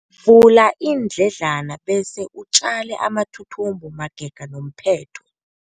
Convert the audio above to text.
Vula iindledlana bese utjale amathuthumbo magega nomphetho.